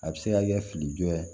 A bɛ se ka kɛ fili jɔ ye